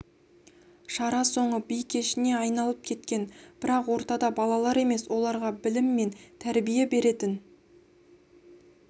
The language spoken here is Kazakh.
шара соңы би кешіне айналып кеткен бірақ ортада балалар емес оларға білім мен тәрбие беретін